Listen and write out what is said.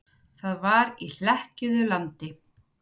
Það var í hlekkjuðu landi.